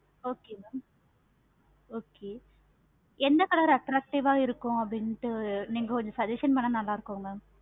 okay mam எந்த color attractive ஆஹ் இருக்கு அப்டினுட்டு நீங்க கொஞ்சம் suggestion பண்ண கொஞ்சம் நல்ல இருக்கும் ma'am